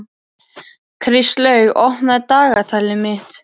Kristlaug, opnaðu dagatalið mitt.